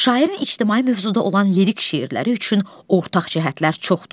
Şairin ictimai mövzuda olan lirik şeirləri üçün ortaq cəhətlər çoxdur.